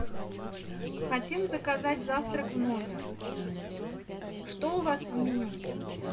хотим заказать завтрак в номер что у вас в меню